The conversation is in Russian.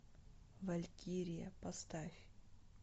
валькирия поставь